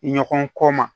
Ɲɔgɔn kɔ ma